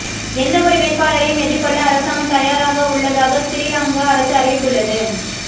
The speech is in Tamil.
எந்த ஒரு வேட்பாளரையும் எதிர்கொள்ள அரசாங்கம் தயாராக உள்ளதாக சிறீலங்கா அரசு அறிவித்துள்ளது